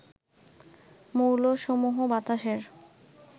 মৌলসমূহ বাতাসের